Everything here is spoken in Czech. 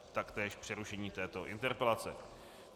A taktéž přerušení této interpelace.